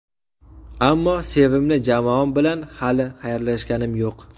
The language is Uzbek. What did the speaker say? Ammo sevimli jamoam bilan hali xayrlashganim yo‘q.